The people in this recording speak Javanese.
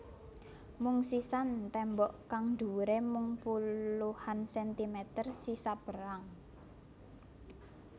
Mung sisa tembok kang dhuwure mung puluhan sentimeter sisa perang